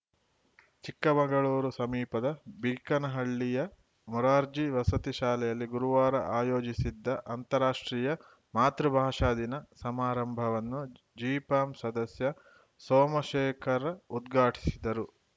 ಚಿಕ್ಕಮಗಳೂರು ಸಮೀಪದ ಬೀಕನಹಳ್ಳಿಯ ಮುರಾರ್ಜಿ ವಸತಿ ಶಾಲೆಯಲ್ಲಿ ಗುರುವಾರ ಆಯೋಜಿಸಿದ್ದ ಅಂತಾರಾಷ್ಟ್ರೀಯ ಮಾತೃಭಾಷಾ ದಿನ ಸಮಾರಂಭವನ್ನು ಜಿಪಂ ಸದಸ್ಯ ಸೋಮಶೇಖರ್‌ ಉದ್ಘಾಟಿಸಿದರು